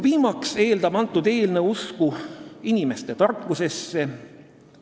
Viimaks eeldab see eelnõu usku inimeste tarkusesse.